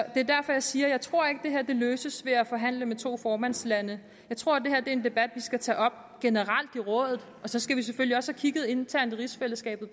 er derfor jeg siger at jeg ikke tror at det her løses ved at forhandle med to formandslande jeg tror at det her er en debat vi skal tage op generelt i rådet og så skal vi selvfølgelig også internt i rigsfællesskabet